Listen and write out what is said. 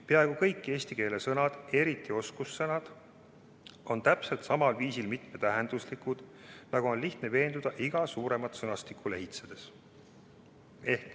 Peaaegu kõik eesti keele sõnad, eriti oskussõnad, on täpselt samal viisil mitmetähenduslikud, nagu on lihtne veenduda iga suuremat sõnastikku lehitsedes.